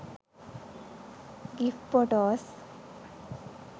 gif photos